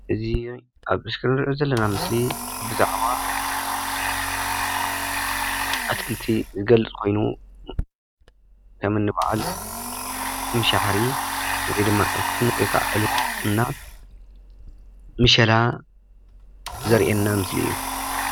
እዚ ኣብ እስክሪን እንሪኦ ዛለና ምስሊ ብዛዕባ ኣትክለቲ ዝገልፅ ኮይኑ ከምእኒ በዓል ምሸባሕሪ ወይ ድማ ዕፉን ወይከዓ ዕልቦ እና ምሸላ ዘርኢየና ምስሊ እዩ፡፡